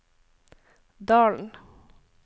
Dalen